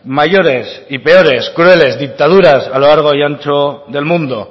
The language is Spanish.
mayores y peores crueles dictadura a lo largo y ancho del mundo